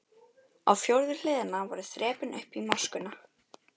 Á fjórðu hliðina voru þrepin upp í moskuna.